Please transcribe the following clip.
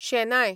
शेनाय